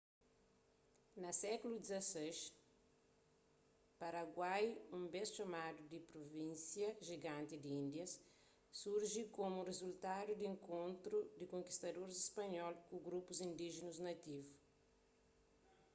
na sékulu xvi paraguai un bês txomadu di pruvínsia jiganti di índias surji komu rizultadu di enkontru di konkistadoris spanhol ku grupus indíjinus nativu